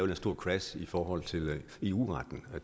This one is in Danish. her store crash i forhold til eu retten